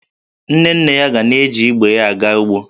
Nne nne ya ga na-eji igwe ya aga ugbo